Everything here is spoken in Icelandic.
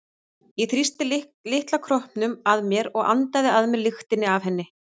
Ég þrýsti litla kroppnum að mér og andaði að mér lyktinni af henni.